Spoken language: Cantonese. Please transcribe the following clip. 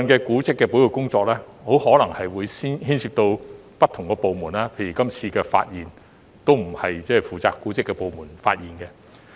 古蹟保育工作部分可能牽涉不同部門，例如這次發現的歷史建築並不是負責古蹟的部門發現的。